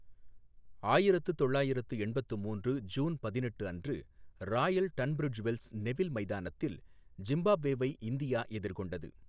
ஆயிரத்து தொள்ளாயிரத்து எண்பத்து மூன்று ஜூன் பதினெட்டு அன்று ராயல் டன்பிரிஜ் வெல்ஸ், நெவில் மைதானத்தில் ஜிம்பாப்வேவை இந்தியா எதிர்கொண்டது.